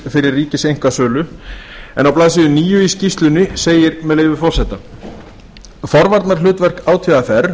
fyrir ríkiseinkasölu en á blaðsíðu níu í skýrslunni segir með leyfi forseta forvarnahlutverk átvr